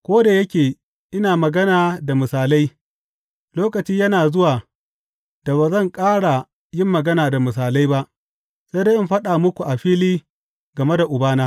Ko da yake ina magana da misalai, lokaci yana zuwa da ba zan ƙara yin magana da misalai ba, sai dai in faɗa muku a fili game da Ubana.